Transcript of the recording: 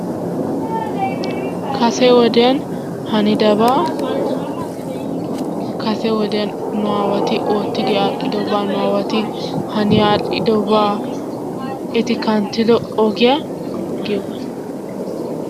Kase wodiyan hanidabaa kase wodiyan nu aawati oottidi aadhdhidobaa nu aawati hani aadhdhidobaa eti kanttido ogiya giyogaa.